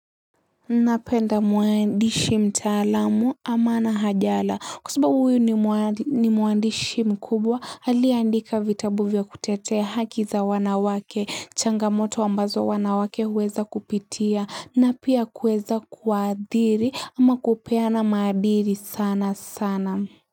Napenda mwandishi mtaalamu ama na hajala kusababu huyu ni muandishi mkubwa aliandika vitabu vya kutetea haki za wanawake changamoto ambazo wanawake huweza kupitia na pia kuweza kuadhiri ama kupeana madhiri sana sana.